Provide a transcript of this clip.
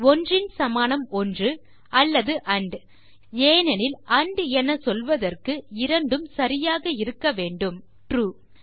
1ன் சமானம்1 அல்லது ஆண்ட் ஏனெனில் ஆண்ட் என சொல்வதற்கு இரண்டும் சரியாக இருக்க வேண்டும் ட்ரூ